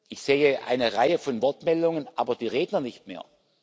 Ich sehe eine Reihe von Wortmeldungen, aber die Redner nicht mehr.